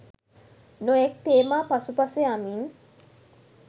නොයෙක් තේමා පසුපස යමින්